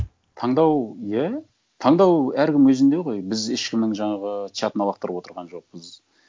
таңдау иә таңдау әркімнің өзінде ғой біз ешкімнің жаңағы чатына лақтарып отырған жоқпыз